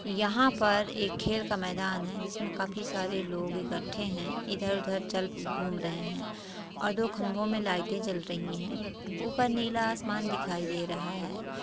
यहां पर एक खेल का मैदान है जिसमे काफी सारे लोग इकट्ठे हैं इधर-उधर चल घूम रहे हैं और दो खंभों में लाइटे जल रही हैं ऊपर नीला आसमान दिखाई दे रहा है।